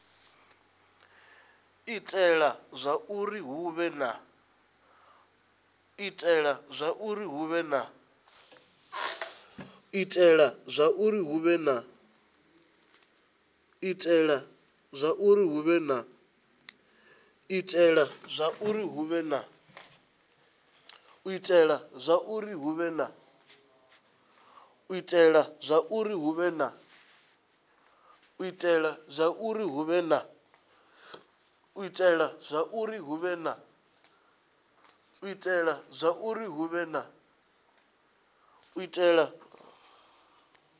itela zwauri hu vhe na